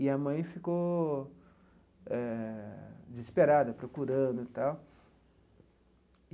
E a mãe ficou eh desesperada, procurando e tal.